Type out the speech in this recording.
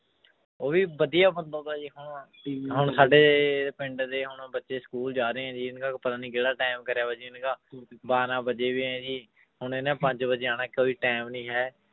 ਉਹ ਵੀ ਵਧੀਆ ਬੰਦਾ ਹੁਣ ਹੁਣ ਸਾਡੇ ਪਿੰਡ ਦੇ ਹੁਣ ਬੱਚੇ school ਜਾ ਰਹੇ ਹੈ ਜੀ ਇਹਨਾਂ ਦਾ ਪਤਾ ਨੀ ਕਿਹੜਾ time ਬਾਰਾਂ ਵਜੇ ਹੋਏ ਹੈ ਜੀ ਹੁਣ ਇਹਨਾਂ ਪੰਜ ਵਜੇ ਆਉਣਾ ਕੋਈ time ਨੀ ਹੈ